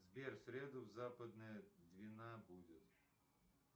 сбер в среду западная двина будет